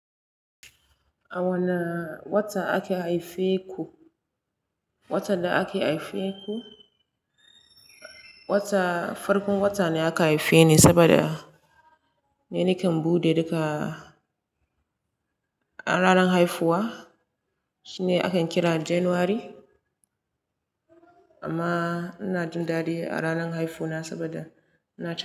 A wane wata ake haife ku? Wata da aka haife ku, wata farkon wata ne aka haife ni saboda ni nakan buɗe duka a ranar haifuwa, shine akan kira January amma ina jin dadi a ranar haifuwa saboda ina jin.